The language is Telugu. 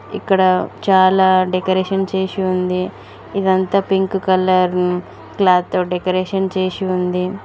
ఇక్కడ చాలా డెకరేషన్ చేసి ఉంది ఇదంతా పింక్ కలర్ క్లాత్ తో డెకరేషన్ చేసి ఉంది.